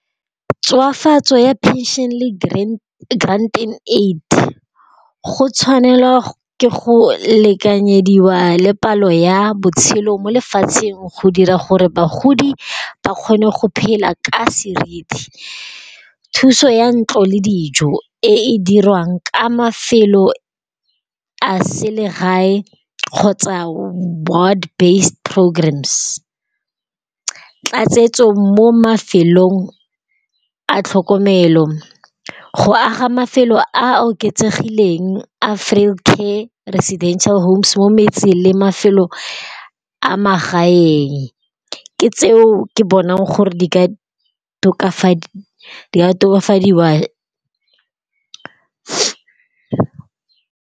Tswafatso ya phenšene le grant in aid go tshwanelwa ke go lekanyediwa le palo ya botshelo mo lefatsheng go dira gore bagodi ba kgone go phela ka serithi. Thuso ya ntlo le dijo e e dirwang ka mafelo a selegae kgotsa board based programmes. Tlatsetso mo mafelong a tlhokomelo, go aga mafelo a oketsegileng a frail care residential homes mo metse le mafelo a magae. Ke tseo ke bonang gore di ka tokafadiwa.